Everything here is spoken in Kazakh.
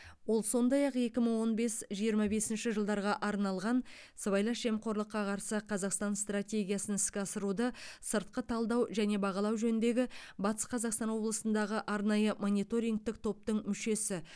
ол сондай ақ екі мың он бес жиырма бесінші жылдарға арналған сыбайлас жемқорлыққа қарсы қазақстан стратегиясын іске асыруды сыртқы талдау және бағалау жөніндегі батыс қазақстан облысындағы арнайы мониторингтік топтың мүшесі